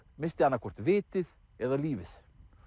missti annað hvort vitið eða lífið